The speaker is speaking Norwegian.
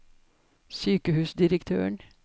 sykehusdirektøren